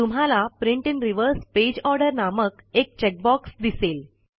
तुम्हाला print in reverse page order नामक एक चेक बॉक्स दिसेल